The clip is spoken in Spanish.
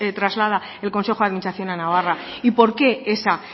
traslada el consejo de administración a navarra y por qué esa